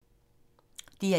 DR1